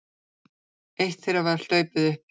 Eitt þeirra var hlaupið uppi